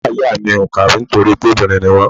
Ìyá ìyá mi ò kàwé nítorí pé obìnrin ni wọ́n.